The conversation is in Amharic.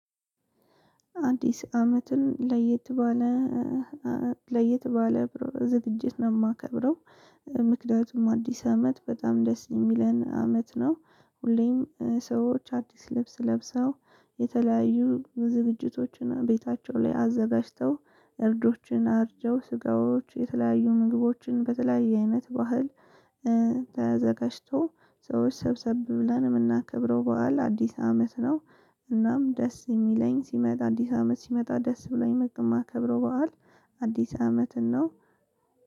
አንዲስ አመትን ለየት ባለ ለየት ባለ ዝግጅት ነው የማከብረው። ምክንያቱም አዲስ አመት በጣም ደስ የሚለን አመት ነው። ሁሌም ሰዎች አዲስ ልብስ ለብሰው የተለያዩ ዝግጅቶችን ቤታቸው ላይ አዘጋጅተው እርዶችን አርጀው ስጋዎች የተለያዩ ምግቦችን በተለያየ አይነት ባህል። ተዘጋጅቶ ሰዎች ሰብሰብ ብለን የምናከብረው በዓል አዲስ አመት ነው። እናም ደስ የሚለኝ ሲመጣ አዲስ አመት ሲመጣ ደስ ብሎኝ በጣም ማከብረው በዓል። አዲስ አመትን ነው።